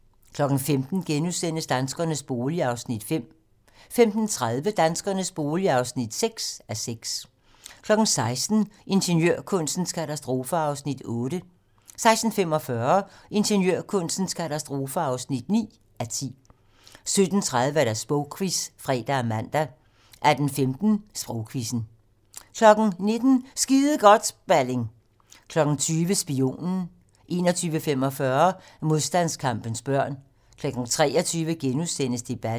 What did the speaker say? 15:00: Danskernes bolig (5:6)* 15:30: Danskernes bolig (6:6) 16:00: Ingeniørkunstens katastrofer (8:10) 16:45: Ingeniørkunstens katastrofer (9:10) 17:30: Sprogquizzen (fre og man) 18:15: Sprogquizzen 19:00: Skide godt, Balling! 20:00: Spionen 21:45: Modstandskampens børn 23:00: Debatten *